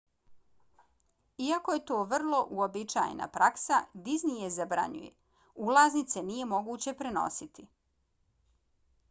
iako je to ovo vrlo uobičajena praksa disney je zabranjuje: ulaznice nije moguće prenositi